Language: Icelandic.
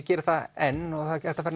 geri það enn og það er hægt að fara